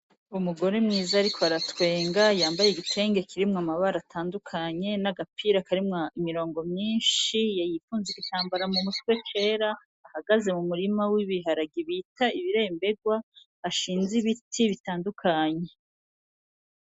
Umugore mwiza ariko aratwenga yambaye igitenge kirimwo amabara atandukanye n'agapira karimwo imirongo myishi yifunze igitambara mu mutwe cera ahagaze mu murima w'ibiharage bita ibiremberwa hashinze ibiti bitandukanye.